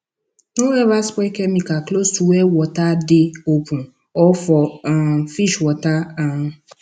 no ever spray chemical close to where water dey open or for um fish water um